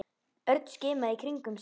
Örn skimaði í kringum sig.